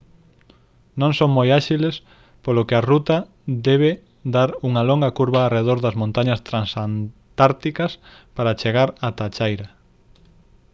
non son moi áxiles polo que a ruta debe dar unha longa curva arredor das montañas transantárticas para chegar ata a chaira